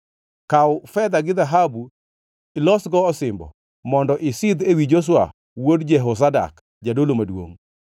Kaw fedha gi dhahabu ilosgo osimbo mondo isidh ewi Joshua wuod Jehozadak, jadolo maduongʼ.